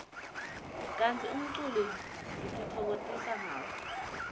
kantsi umculo sitifokotisa ngawo